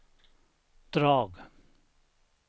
drag